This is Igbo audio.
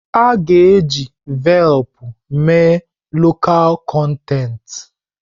A ga-eji Velpụ mee lọkal kọntentị.